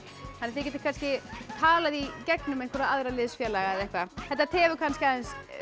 þið getið kannski talað í gegnum aðra liðsfélaga þetta tefur kannski aðeins